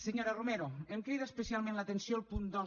senyora romero em crida especialment l’atenció el punt dos